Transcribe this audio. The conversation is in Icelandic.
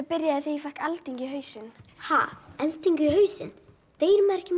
byrjaði þegar ég fékk eldingu í hausinn ha eldingu í hausinn deyr maður ekki